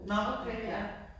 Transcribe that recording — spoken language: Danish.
Nå okay ja